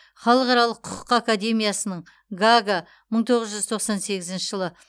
халықаралық құқық академиясын гаага мың тоғыз жүз тоқсан сегізінші жылы